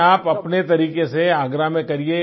नहीं आप अपने तरीके से आगरा में करिये